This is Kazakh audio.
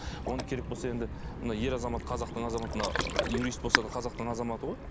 оны керек болса енді мына ер азамат қазақтың азаматына юрист болса да қазақтың азаматы ғой